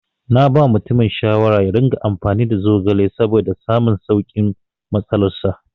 Naba mutumin shawara yaringa amfani da zogale saboda samun saukin matsalar sa.